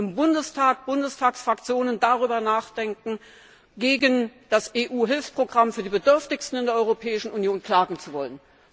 im Bundestag Bundestagsfraktionen darüber nachdenken, ob sie nicht gegen das EU Hilfsprogramm für die Bedürftigsten in der Europäischen Union klagen sollen.